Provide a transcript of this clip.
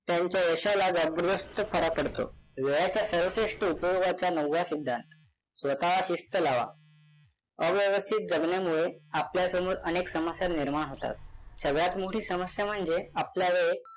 त्यांच्या यशाला फरक पडतो. वेळाच्या सर्वश्रेष्ठ उपयोगाचा नववा सिद्धांत स्वतःला शिस्त लावा अव्यवस्थित जगण्यामुळे आपल्यासमोर अनेक समस्या निर्माण होतात. सगळयात मोठी समस्या म्हणजे आपला वेळ